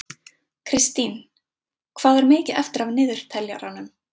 Kristine, hvað er mikið eftir af niðurteljaranum?